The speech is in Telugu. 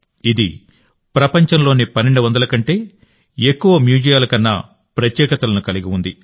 ఇది ప్రపంచంలోని 1200 కంటే ఎక్కువ మ్యూజియాల ప్రత్యేకతలను ప్రదర్శించింది